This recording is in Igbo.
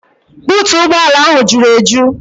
Buutu ụgbọala ahụ juru eju.